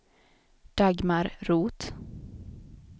Dagmar Roth